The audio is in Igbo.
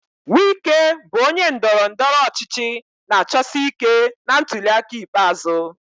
Wike bụ onye ndọrọ ndọrọ ọchịchị na-achọsi ike na ntuli aka ikpeazụ.